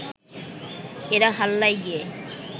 এরা হাল্লায় গিয়ে